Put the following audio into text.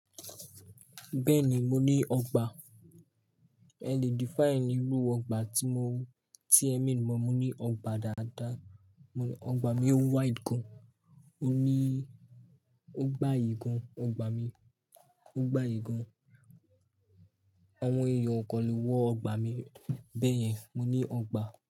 Bẹ́ẹ̀ni, mo ní ọgbà. I can define irú ọgbà tí mo, tí ẹ̀mi mọ̀. Mo ní ọgbà dada, ọgbà mi wide gan, o ní, o gbà aye gan, ọgbà mi, o gbà aye gan. Àwọn ẹ̀yàn ọkọ̀ lè wọ ọgbà mi, bẹ́ẹ̀yẹn mo ní ọgbà.